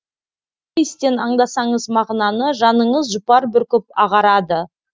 иістен аңдасаңыз мағынаны жаныңыз жұпар бүркіп ағарады